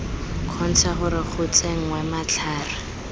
kgontsha gore go tsenngwe matlhare